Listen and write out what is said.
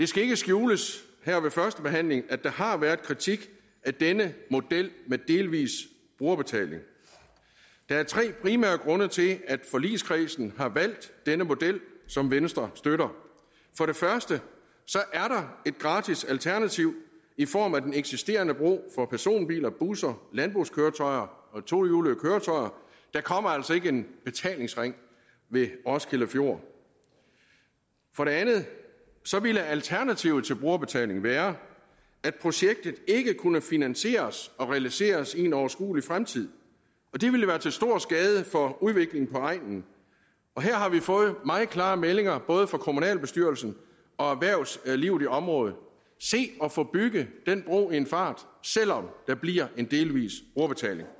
skal ikke skjules her ved førstebehandlingen at der har været kritik af denne model med delvis brugerbetaling der er tre primære grunde til at forligskredsen har valgt denne model som venstre støtter for det første er der et gratis alternativ i form af den eksisterende bro for personbiler busser landbrugskøretøjer og tohjulede køretøjer der kommer altså ikke en betalingsring ved roskilde fjord for det andet ville alternativet til brugerbetaling være at projektet ikke kunne finansieres og realiseres i en overskuelig fremtid og det ville være til stor skade for udviklingen på egnen her har vi fået meget klare meldinger både fra kommunalbestyrelsen og erhvervslivet i området se at få bygget den bro i en fart selv om der bliver en delvis brugerbetaling